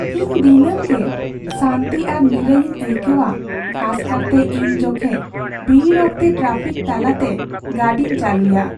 ᱤᱧ ᱫᱤᱱᱟᱹᱢ ᱜᱮ ᱥᱟᱱᱛᱤ ᱟᱨ ᱱᱤᱭᱟᱹᱭᱤᱧ ᱟᱹᱭᱠᱟᱹᱣᱟ ᱠᱷᱟᱥ ᱠᱟᱨᱛᱮ ᱤᱧ ᱡᱚᱠᱷᱮᱡ ᱵᱷᱤᱲ ᱚᱠᱛᱮ ᱴᱨᱟᱯᱷᱤᱠ ᱛᱟᱞᱟ ᱛᱮ ᱜᱟᱹᱰᱤᱧ ᱪᱟᱹᱞᱩᱭᱟ ᱾